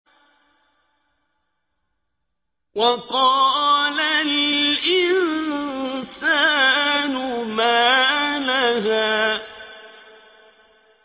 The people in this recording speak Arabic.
وَقَالَ الْإِنسَانُ مَا لَهَا